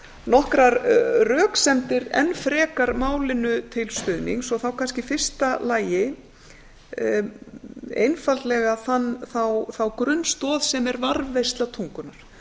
nokkrar röksemdir enn frekar málinu til stuðnings og þá kannski í fyrsta lagi einfaldlega þá grunnstoð sem er varðveisla tungunnar